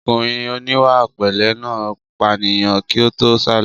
Ọkùnrin oníwàpẹ̀lẹ́ náà pànìyàn kí ó tó sálọ